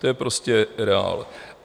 To je prostě reál.